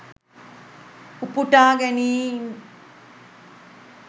උපුටා ගැනීම්